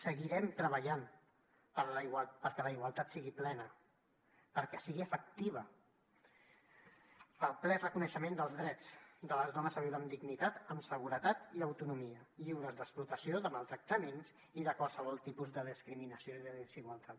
seguirem treballant perquè la igualtat sigui plena perquè sigui efectiva pel ple reconeixement dels drets de les dones a viure amb dignitat amb seguretat i autonomia lliures d’explotació de maltractaments i de qualsevol tipus de discriminació i desigualtat